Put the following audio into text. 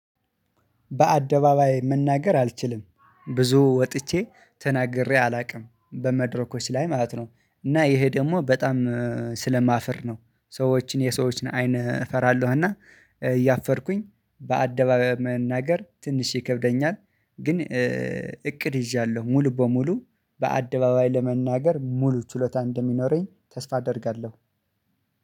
በአደባባይ መናገር አልችልም ብዙ ወጥቼ ተናግሬ አላቅም በመድረኮች ላይ ማለት ነው። እና ይሄ ደግሞ በጣም ስለማፍር ነው። ሰዎችን የሰዎችን አይን እፈራለሁ እና እያፈርኩኝ በአደባባይ መናገር ትንሽ ይከብደኛል። ግን እቅድ ይዣለሁ ሙሉ በሙሉ በአደባባይ ለመናገር ሙሉ ችሎታ እንደሚኖረኝ ተስፋ አደርጋለው።